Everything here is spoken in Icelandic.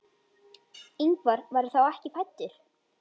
Ingvar var þá ekki fæddur.